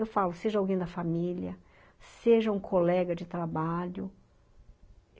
Eu falo, seja alguém da família, seja um colega de trabalho.